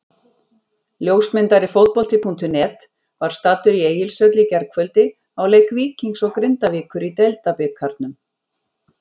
Ljósmyndari Fótbolti.net var staddur í Egilshöll í gærkvöldi á leik Víkings og Grindavíkur í Deildabikarnum.